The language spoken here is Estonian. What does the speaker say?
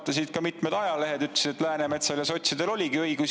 Seda toetasid ka mitmed ajalehed, kes ütlesid, et Läänemetsal ja sotsidel oli õigus.